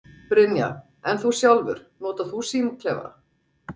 Brynja: En þú sjálfur, notar þú símaklefa?